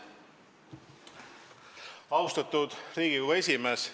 Austatud Riigikogu esimees!